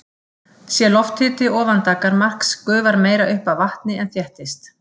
Sé lofthiti ofan daggarmarks gufar meira upp af vatni en þéttist.